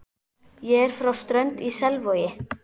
Ég er frá Strönd í Selvogi.